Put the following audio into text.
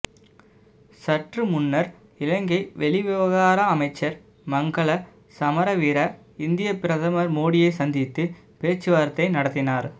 சற்று முன்னர் இலங்கை வெளிவிவகார அமைச்சர் மங்கள சமரவீர இந்திய பிரதமர் மோடியை சந்தித்து பேச்சுவார்த்தை நடத்தினார்